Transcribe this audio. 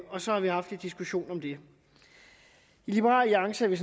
og så har vi haft lidt diskussion om det i liberal alliance er vi